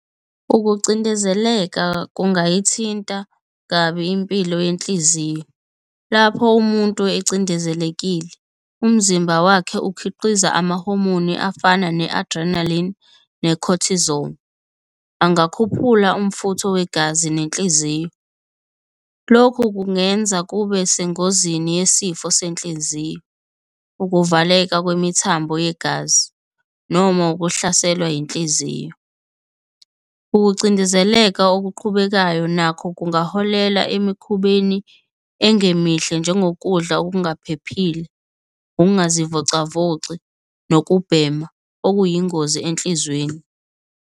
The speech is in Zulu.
Ukucindezeleka kungayithinta kabi impilo yenhliziyo. Lapho umuntu ecindezelekile umzimba wakhe ukhiqiza amahomoni afana ne-adrenaline ne-cortisone. Angakhuphula umfutho wegazi nenhliziyo. Lokhu kungenza kube sengozini yesifo senhliziyo, ukuvaleka kwemithambo yegazi noma ukuhlaselwa inhliziyo. Ukucindezeleka okuqhubekayo nakho kungaholela emikhubeni engemihle, njengokudla okungaphephile, ukungazivocavoci nokubhema okuyingozi enhlizweni.